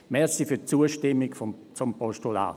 Danke für die Zustimmung zum Postulat.